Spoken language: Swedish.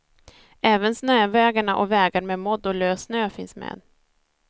Även snövägarna, och vägar med modd och lös snö finns med.